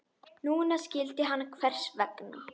Núna skildi hann hvers vegna.